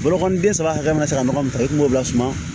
Bolokoliden saba hakɛ min bɛ se ka nɔgɔ min ta i kungolo la suma